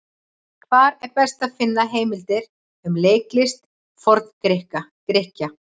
Hvar er best að finna heimildir um leiklist Forn-Grikkja?